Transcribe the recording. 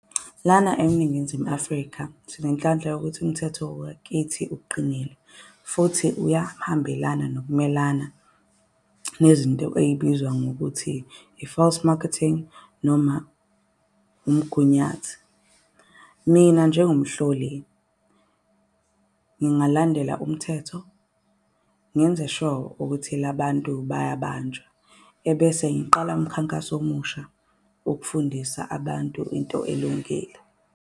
Lana eNingizimu Afrika, sinenhlanhla yokuthi umthetho wakithi uqinile futhi uyahambelane nokumelana. Nezinto ey'bizwa ngokuthi i-false marketing noma umgunyathi. Mina njengomhloli ngingalandela umthetho ngenze sho ukuthi la bantu bayabanjwa. Ebese ngiqala umkhankaso omusha wokufundisa abantu into elungile.